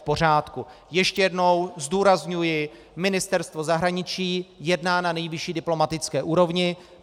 Ještě jednou zdůrazňuji, Ministerstvo zahraničí jedná na nejvyšší diplomatické úrovni.